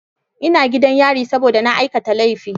Ina gidan yari saboda na aikata laifi.